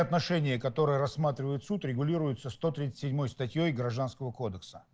отношение которое рассматривает суд регулируется сто тридцать седьмой статьёй гражданского кодекса